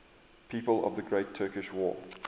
people of the great turkish war